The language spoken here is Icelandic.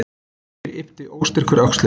Birkir yppti óstyrkur öxlum.